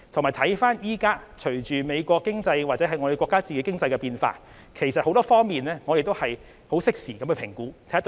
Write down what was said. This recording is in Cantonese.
現時，隨着美國或我們國家的經濟變化，我們會從多方面適時評估所謂的"制裁"對香港的影響。